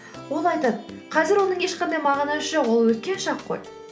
ол айтады қазір оның ешқандай мағынасы жоқ ол өткен шақ қой